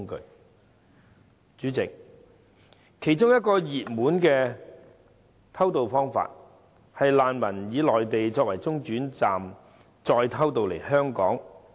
代理主席，其中一個熱門的偷渡方法，是難民以內地作為中轉站再偷渡來港。